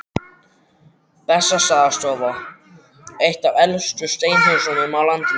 Bessastaðastofa, eitt af elstu steinhúsum á landinu.